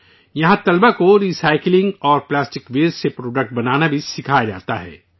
یہاں اسٹوڈنٹس کو recycling اور پلاسٹک ویسٹ سے پروڈکٹس بنانا بھی سکھایا جاتا ہے